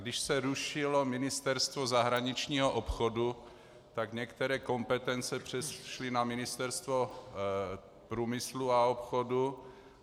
Když se rušilo Ministerstvo zahraničního obchodu, tak některé kompetence přešly na Ministerstvo průmyslu a obchodu.